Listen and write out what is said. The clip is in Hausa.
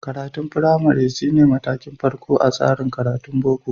Karatun firamari shi ne matakin farko a tsarin karatun Boko.